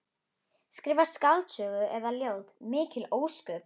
Skrifa skáldsögu eða ljóð, mikil ósköp.